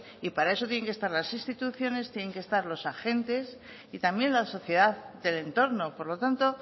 y para eso tienen que estar las instituciones tienen que estar los agentes y también la sociedad del entorno por lo tanto